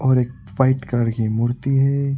और एक white colour की मूर्ति है।